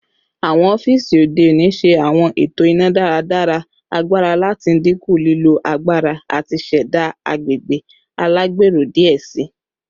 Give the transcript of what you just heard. Awọn ọfiisi ode oni ṣe awọn eto ina-daradara agbara lati dinku lilo agbara ati ṣẹda agbegbe alagbero diẹ sii